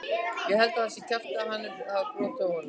Ég held að það sé kjaftæði að hann hafi brotið á honum.